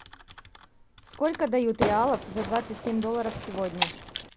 сколько дают реалов за двадцать семь долларов сегодня